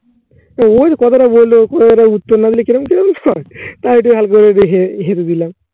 ওই কথাটা বললো তোর উত্তর না দিলে কি রকম কি রকম হয়। তাই একটু হালকা করে হেসে দিলাম।